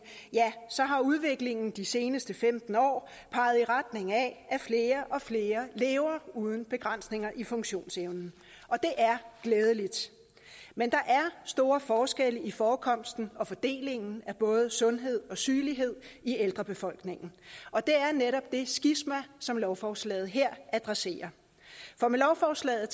udviklingen de seneste femten år peget i retning af at flere og flere lever uden begrænsninger i funktionsevnen og det er glædeligt men der er store forskelle i forekomsten og fordelingen af både sundhed og sygelighed i ældrebefolkningen og det er netop det skisma som lovforslaget her adresserer for med lovforslaget